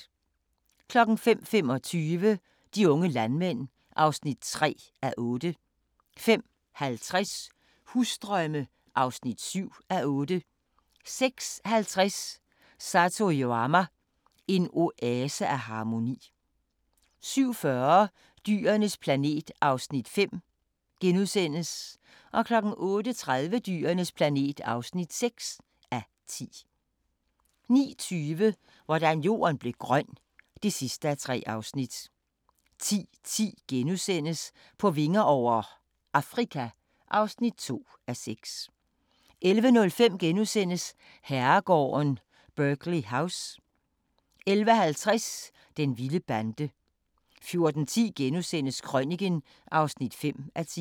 05:25: De unge landmænd (3:8) 05:50: Husdrømme (7:8) 06:50: Satoyama – en oase af harmoni 07:40: Dyrenes planet (5:10)* 08:30: Dyrenes planet (6:10) 09:20: Hvordan Jorden blev grøn (3:3) 10:10: På vinger over - Afrika (2:6)* 11:05: Herregården Burghley House * 11:50: Den vilde bande 14:10: Krøniken (5:10)*